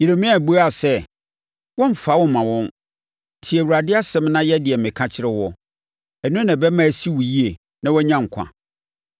Yeremia buaa sɛ, “Wɔremfa wo mma wɔn. Tie Awurade asɛm na yɛ deɛ meka kyerɛ woɔ. Ɛno na ɛbɛma asi wo yie na woanya nkwa.